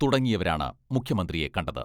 തുടങ്ങിയവരാണ് മുഖ്യമന്ത്രിയെ കണ്ടത്.